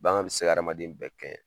Bagan bɛ se ka hadamaden bɛɛ kɛɲɛ.